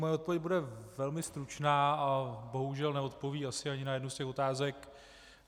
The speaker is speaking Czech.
Moje odpověď bude velmi stručná a bohužel neodpoví asi ani na jednu z těch otázek.